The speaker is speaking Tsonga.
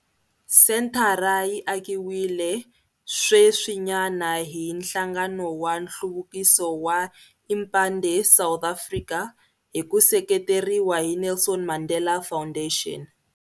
Senthara yi akiwile sweswinyana hi nhlangano wa nhluvukiso wa Impande South Africa hi ku seketeriwa hi Nelson Mandela Foundation.